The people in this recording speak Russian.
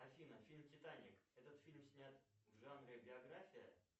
афина фильм титаник этот фильм снят в жанре биография